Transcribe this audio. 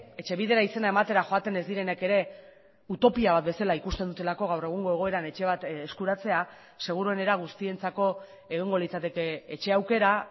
etxebidera izena ematera joaten ez direnek ere utopia bat bezala ikusten dutelako gaur egungo egoeran etxe bat eskuratzea seguruenera guztientzako egongo litzateke etxe aukera